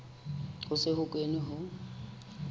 ho se ho kenwe ho